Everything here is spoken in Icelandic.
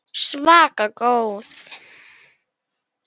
Svaka góð.